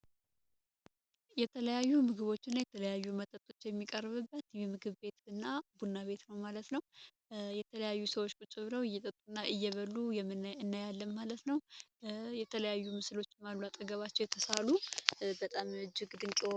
የተለያዩ ምግቦች እና የተለያዩ መጠቶች የሚቀርብበት ምግብ ቤት እና ቡና ቤትኖ ማለት ነው የተለያዩ ሰዎች ቁጭብረው እይጠጡ እና እየበሉ እና ያለ ማለት ነው፡፡ የተለያዩ ምስሎች አጠገባቸው የተሳሉ በጣም እጅግ ድንቀ ምስሎች አሉ፡፡